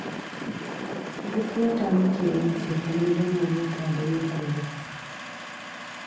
Duk wata muke yin cefane don mu huta da yi kullum